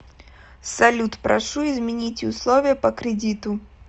салют прошу измените условия по кредиту